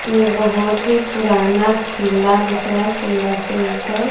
ये एक बहोत ही पुराना किला दिख रहा है किला के ऊपर--